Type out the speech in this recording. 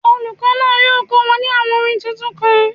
Olùkọ́ náà yóò kọ́ wọn ní àwọn orin tuntun kan.